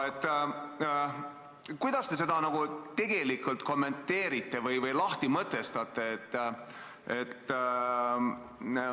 Kuidas te seda kommenteerite või lahti mõtestate?